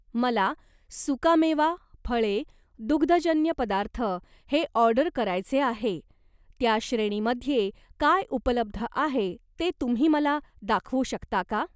मला सुकामेवा, फळे, दुग्धजन्य पदार्थ हे ऑर्डर करायचे आहे, त्या श्रेणीमध्ये काय उपलब्ध आहे ते तुम्ही मला दाखवू शकता का?